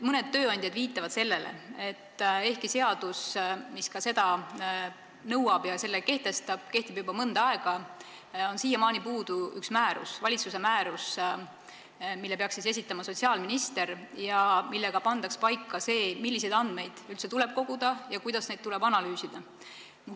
Mõned tööandjad viitavad sellele, et ehkki seadus, mis seda nõuab, on kehtinud juba mõnda aega, on siiamaani puudu üks valitsuse määrus, mille peaks esitama sotsiaalminister ja millega pandaks paika see, milliseid andmeid üldse tuleb koguda ja kuidas neid tuleb analüüsida.